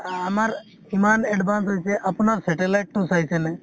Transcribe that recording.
আমাৰ ইমান advance হৈছে, আপোনাৰ satellite তো চাইছে নে ?